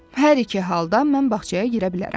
Hər iki halda mən bağçaya girə bilərəm.